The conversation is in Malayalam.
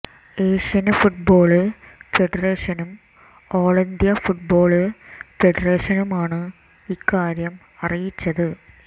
എഷ്യന് ഫുട്ബോള് ഫെഡറേഷനും ഓള് ഇന്ത്യ ഫുട്ബോള് ഫെഡറേഷനുമാണ് ഇക്കാര്യം അറിയിച്ചത്